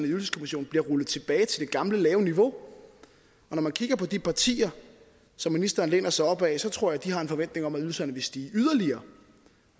ydelseskommissionen bliver rullet tilbage til det gamle lave niveau og når man kigger på de partier som ministeren læner sig op ad så tror jeg de har en forventning om at ydelserne vil stige yderligere